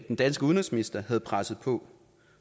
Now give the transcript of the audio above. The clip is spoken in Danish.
den danske udenrigsminister havde presset på